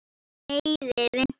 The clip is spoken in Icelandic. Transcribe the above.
Ég leiði vitni.